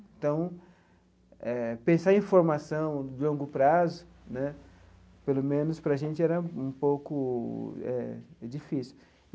Então eh, pensar em formação de longo prazo né, pelo menos para a gente, era um pouco eh difícil.